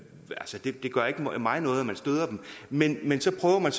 gør ikke mig noget at man støder dem men men så prøver man